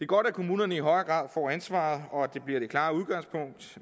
godt at kommunerne i højere grad får ansvaret og at det bliver det klare udgangspunkt